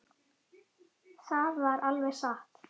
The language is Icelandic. Það var alveg satt.